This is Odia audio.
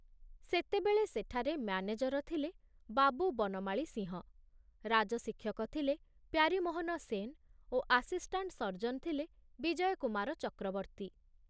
ସେତେବେଳେ ସେଠାରେ ମ୍ୟାନେଜର ଥିଲେ ବାବୁ ବନମାଳୀ ସିଂହ, ରାଜଶିକ୍ଷକ ଥିଲେ ପ୍ୟାରୀମୋହନ ସେନ ଓ ଆସିଷ୍ଟାଣ୍ଟ ସର୍ଜନ ଥିଲେ ବିଜୟ କୁମାର ଚକ୍ରବର୍ତୀ।